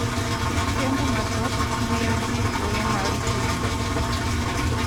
Kendo mathoth miyo ji thuolo mar tudruok